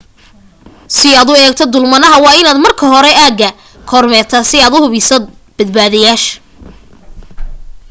si aad u eegto dulmanaha waa inaad marka hore aagga kormeertaa si aad hubiso badbaadadaada